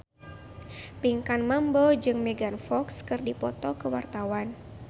Pinkan Mambo jeung Megan Fox keur dipoto ku wartawan